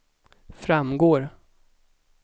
framgår